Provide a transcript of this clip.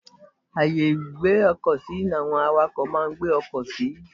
Ààyè ìgbé ọkọ̀ sí ní àwọn àwàkọ̀ máa ń gbé ọkọ̀ sí.